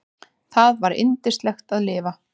Það var yndislegt að lifa.